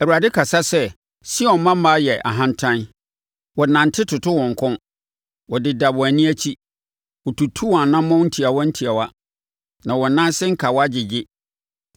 Awurade kasa sɛ, “Sion mmammaa yɛ ahantan; wɔnante toto wɔn kɔn, wɔdeda wɔn ani akyi, wɔtutu wɔn anammɔn ntiawa ntiawa, na wɔn nan ase nkawa gyegye.